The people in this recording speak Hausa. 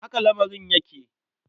Haka lamarin yake.